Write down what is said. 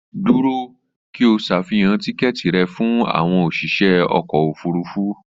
Dúró! kí o ṣàfihàn tíkẹ́ẹ̀tì rẹ fún àwọn òsìṣẹ́ ọkọ̀ òfurufú